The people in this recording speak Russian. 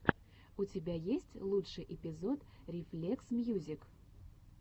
у тебя есть лучший эпизод рефлексмьюзик